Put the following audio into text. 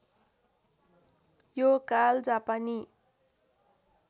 यो काल जापानी